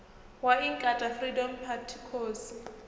wa inkatha freedom party khosi